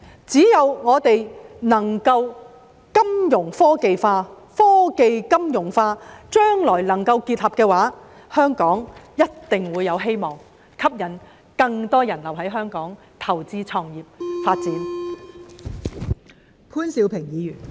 只要我們能夠金融科技化、科技金融化，當將來能夠結合時，香港便一定會有希望，可以吸引更多人留在香港投資、創業和發展。